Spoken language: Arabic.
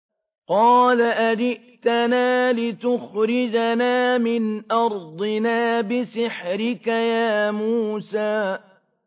قَالَ أَجِئْتَنَا لِتُخْرِجَنَا مِنْ أَرْضِنَا بِسِحْرِكَ يَا مُوسَىٰ